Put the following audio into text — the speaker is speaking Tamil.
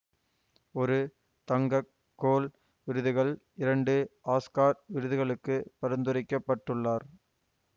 ஒரு தங்க கோள் விருதுகள் இரண்டு ஆஸ்கர் விருதுகளுக்கு பரிந்துரைக்கப்பட்டுள்ளார்